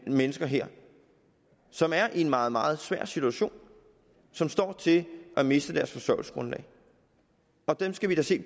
mennesker her som er i en meget meget svær situation og som står til at miste deres forsørgelsesgrundlag dem skal vi da se